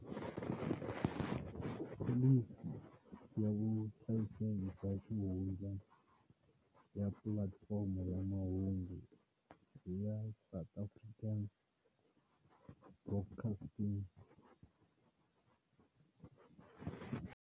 Pholisi ya vuhlayiseki bya xihundla ya pulatifomo ya mahungu ya South African Broadcasting.